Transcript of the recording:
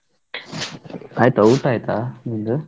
ಆಯ್ತಾ ಊಟಾಯ್ತಾ ನಿಮ್ದು?